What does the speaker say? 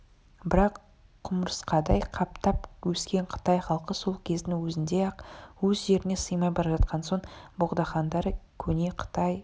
бірақ құмырсқадай қаптап өскен қытай халқы сол кездің өзінде-ақ өз жеріне сыймай бара жатқан соң богдахандары көне қытай